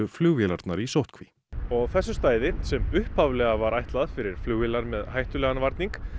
flugvélarnar í sóttkví og þessu stæði sem upphaflega var ætlað fyrir flugvélar með hættulegan varning